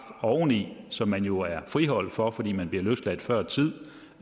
oveni som man jo er friholdt for fordi man bliver løsladt før tid